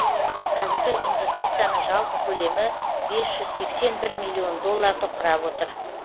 қазіргі инвестицияның жалпы көлемі бес жүз сексен бір миллион долларды құрап отыр